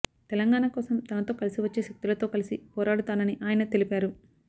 తెలంగాణ కోసం తనతో కలిసి వచ్చే శక్తులతో కలిసి పోరాడుతానని ఆయన తెలిపారు